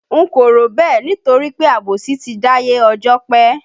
N kò rò bẹ́ẹ̀ nítorí pé àbòsí ti dáyé ọjọ́ pé